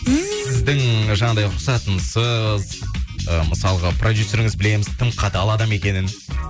сіздің жаңағыдай рұқсатынсыз ы мысалға продюсеріңіз білеміз тым қатал адам екенін